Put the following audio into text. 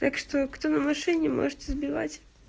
так что кто на машине можете сбивать